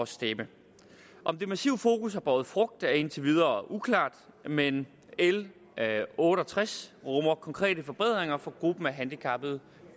stemme om det massive fokus har båret frugt er indtil videre uklart men l otte og tres rummer konkrete forbedringer for gruppen af handicappede